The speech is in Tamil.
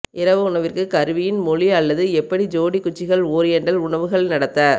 இரவு உணவிற்குப் கருவியின் மொழி அல்லது எப்படி ஜோடி குச்சிகள் ஓரியண்டல் உணவுகள் நடத்த